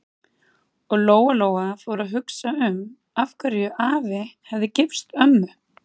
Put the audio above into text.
Og Lóa-Lóa fór að hugsa um af hverju afi hefði gifst ömmu.